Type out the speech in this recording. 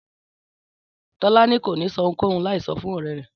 Tọ́lání kò ní ṣohunkóhun láì sọ fún ọ̀rẹ́ rẹ̀